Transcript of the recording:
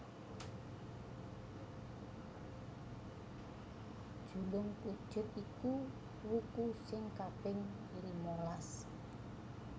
Julungpujut iku wuku sing kaping limalas